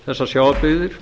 þessar sjávarbyggðir